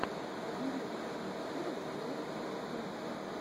набери лучшую серию плэй эт хом